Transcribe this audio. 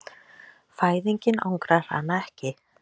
Fæðingin angrar hana ekki.